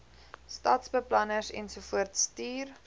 stadsbeplanners ensovoorts stuur